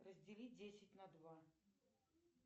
раздели десять на два